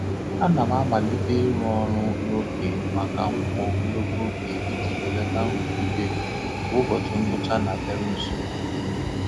A na m amalite n'ịrụ ọrụ n'oge maka nkwa ogologo oge iji belata nrụgide mgbe ụbọchị ngwụcha na-abịaru nso.